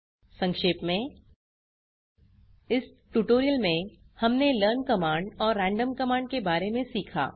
संक्षेप में इस ट्यूटोरियल में हमने लर्न कमांड और रैंडम कमांड के बारे में सीखा